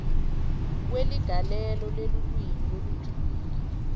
kweligalelo lelulwimi lolujulile